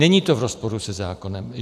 Není to v rozporu se zákonem.